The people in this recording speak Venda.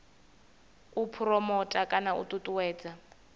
u phuromotha kana u ṱuṱuwedza